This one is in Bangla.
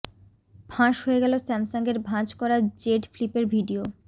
ফাঁস হয়ে গেল স্যামসাংয়ের ভাঁজ করা জেড ফ্লিপের ভিডিও